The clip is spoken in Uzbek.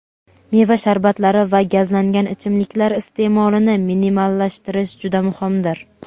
meva sharbatlari va gazlangan ichimliklar iste’molini minimallashtirish juda muhimdir.